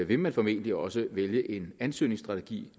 vil man formentlig også vælge en ansøgningsstrategi